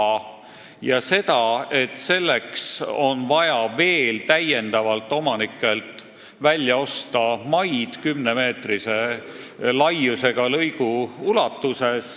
Nimelt tuli ilmsiks, et selleks on vaja omanikelt täiendavalt maid välja osta, et saaks rajada 10 meetrit laiema piiririba.